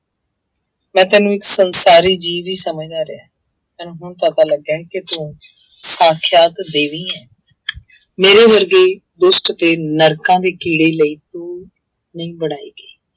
ਮੈਂ ਤੈਨੂੰ ਇੱਕ ਸੰਸਾਰੀ ਜੀਵੀ ਸਮਝਦਾ ਰਿਹਾ, ਮੈਨੂੰ ਹੁਣ ਪਤਾ ਲੱਗਿਆ ਕਿ ਤੂੰ ਸਾਖਿਆਤ ਦੇਵੀ ਹੈ ਮੇਰੇ ਵਰਗੇ ਦੁਸ਼ਟ ਤੇ ਨਰਕਾਂ ਦੇ ਕੀੜੇ ਲਈ ਤੂੰ ਨਹੀਂ ਬਣਈ ਗਈ।